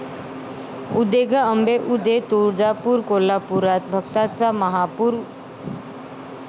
उदे गं अंबे उदे...तुळजापूर, कोल्हापूरात भक्तांचा महापूर!